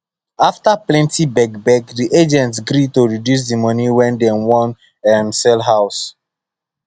after plenty begbeg the agent gree to reduce the money wey dem wan um sell house